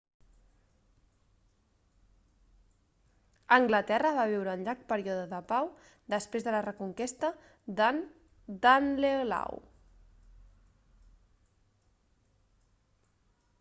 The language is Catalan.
anglaterra va viure un llarg període de pau després de la reconquesta del danelaw